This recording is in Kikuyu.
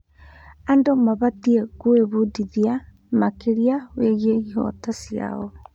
Andũ mabatiĩ gwĩbundithia makĩria wĩgiĩ ihooto ciao.